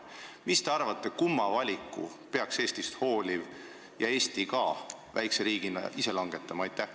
Mis te arvate, kumma valiku peaks Eestist hooliv inimene ja Eesti väikse riigina ise langetama?